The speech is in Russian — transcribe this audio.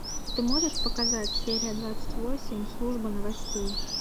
ты можешь показать серия двадцать восемь служба новостей